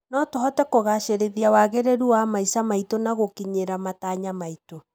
no tũhote kũgacĩrithia wagĩrĩru wa maica maitũ na gũkĩnyĩra matanya maitũ